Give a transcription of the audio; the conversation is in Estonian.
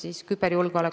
Tänan küsimuse eest!